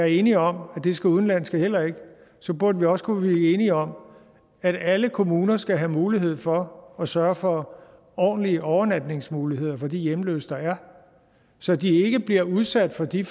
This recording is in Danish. enige om at det skal udenlandske heller ikke så burde vi også kunne blive enige om at alle kommuner skal have mulighed for at sørge for ordentlige overnatningsmuligheder for de hjemløse der er så de ikke bliver udsat for de